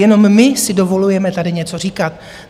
Jenom my si dovolujeme tady něco říkat.